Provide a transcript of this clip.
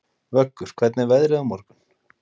Vöggur, hvernig er veðrið á morgun?